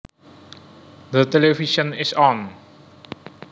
The television is on